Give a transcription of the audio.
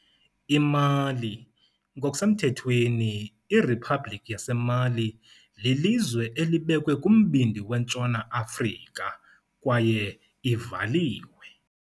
IMali, ngokusemthethweni iRiphabhlikhi yaseMali, lilizwe elibekwe kumbindi weNtshona Afrika kwaye ivaliwe.